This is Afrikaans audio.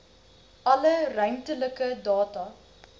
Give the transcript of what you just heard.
alle ruimtelike data